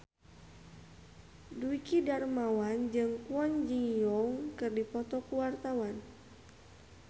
Dwiki Darmawan jeung Kwon Ji Yong keur dipoto ku wartawan